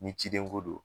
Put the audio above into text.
Ni ciden ko don